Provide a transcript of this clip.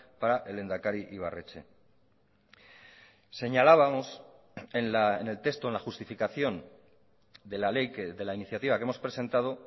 para el lehendakari ibarretxe señalábamos en el texto en la justificación de la ley de la iniciativa que hemos presentado